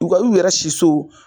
U ka y'u yɛrɛ si so.